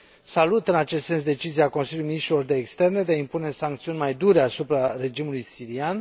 Salut în acest sens decizia Consiliului Afaceri Externe de a impune sancțiuni mai dure asupra regimului sirian.